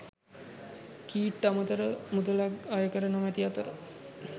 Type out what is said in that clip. කීට් අමතර මුලක්ද අයකර නොමැති අතර